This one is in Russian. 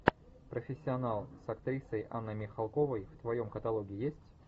профессионал с актрисой анной михалковой в твоем каталоге есть